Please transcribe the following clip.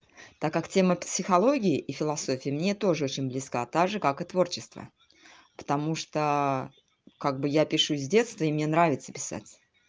так как тема психологии и философии мне тоже очень близко так же как и творчество потому что как бы я пишу с детства и мне нравится писать